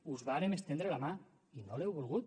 us vàrem estendre la mà i no l’heu volgut